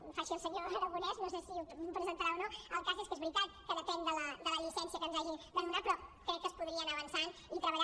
fa així el senyor aragonès no sé si ho presentarà o no el cas és que és veritat que depèn de la llicència que ens hagi de donar però crec que es podria anar avançant i treballant